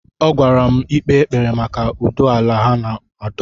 Ọ gwara m ikpe ekpere maka ụdọ ala ha na-adọ.